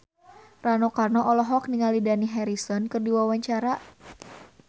Rano Karno olohok ningali Dani Harrison keur diwawancara